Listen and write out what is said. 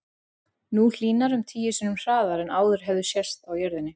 Nú hlýnar um tíu sinnum hraðar en áður hefur sést á jörðinni.